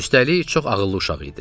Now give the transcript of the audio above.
Üstəlik çox ağıllı uşaq idi.